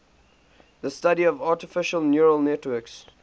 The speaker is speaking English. the study of artificial neural networks